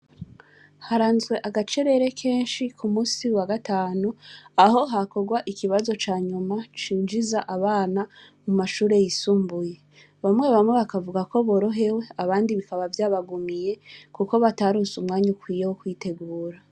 Haranzwe agacerere kenshi ku munsi wa gatanu aho hakorwa ikibazo ca nyuma cinjiza abana mu mashure yisumbuye, bamwe bamwe bakavugako borohewe abandi bikaba vyabagumiye kuko bataronse umwanya ukwiye wo kwitegura.